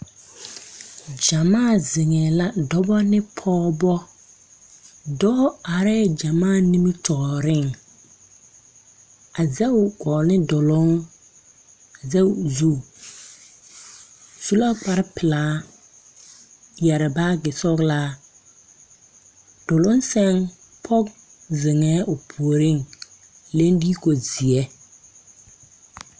Gyamaa zeŋɛɛ la dɔbɔ ne pɔgebɔ dɔɔ arɛɛ gyamaa nimitooreŋ a zege o gɔɔ ne duluŋ a zege o zu su la kparepelaa yɛre baagi sɔglaa duluŋ sɛŋ pɔge zeŋɛɛ o puoriŋ leŋ diiko zeɛ.